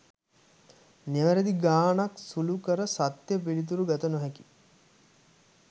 නිවැරදිව ගාණක් සුළු කර සත්‍ය පිළිතුර ගත නොහැකි